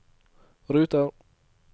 ruter